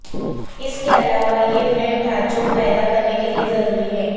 اس کے علاوہ یہ فریم ڈھانچوں پیدا کرنے کے لئے ضروری ہے